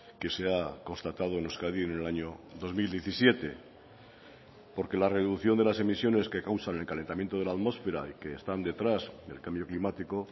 que se ha constatado en euskadi en el año dos mil diecisiete porque la reducción de las emisiones que causan el calentamiento de la atmósfera y que están detrás del cambio climático